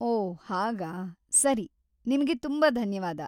ಓಹ್‌ ಹಾಗಾ, ಸರಿ. ನಿಮ್ಗೆ ತುಂಬಾ ಧನ್ಯವಾದ.